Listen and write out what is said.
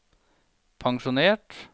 pensjonert